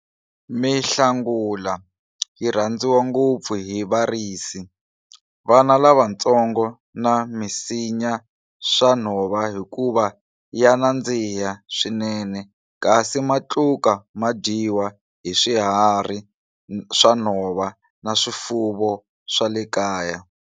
Mihlangula yi rhandziwa ngopfu hi varisi, vana lavatsongo na misinya swa nhova hikuva ya nandziha swinene kasi matluka ma dyiwa hi swiharhi swa nhova na swifuwo swa le kaya.